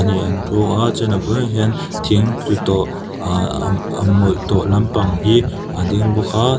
hnih an thu a chuan a bulah hian thing tlu tawh aa a a mawih tawh lampanga hi a ding bawk a.